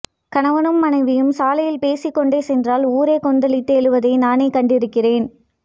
கணவனும் மனைவியும் சாலையில் பேசிக்கொண்டே சென்றால் ஊரே கொந்தளித்து எழுவதை நானே கண்டிருக்கிறேன்